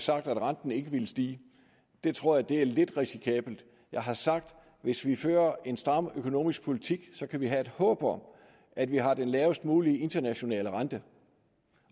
sagt at renten ikke ville stige det tror jeg er lidt risikabelt jeg har sagt at hvis vi fører en stram økonomisk politik kan vi have et håb om at vi har den lavest mulige internationale rente